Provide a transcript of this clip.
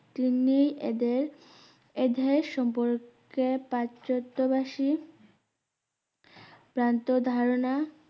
তিনি এদের এধের সম্পর্কে পাচাতোবাসি ভ্রান্ত ধারণা